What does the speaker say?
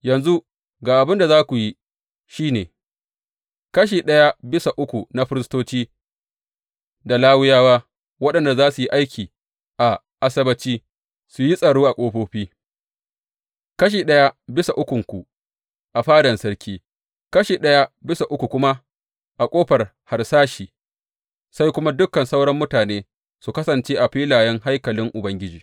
Yanzu ga abin da za ku yi, shi ne, kashi ɗaya bisa uku na firistoci da Lawiyawa waɗanda za su yi aiki a Asabbaci su yi tsaro a ƙofofi, kashi ɗaya bisa ukunku a fadan sarki, kashi ɗaya bisa uku kuma, a Ƙofar Harsashi, sai kuma dukan sauran mutane su kasance a filayen haikalin Ubangiji.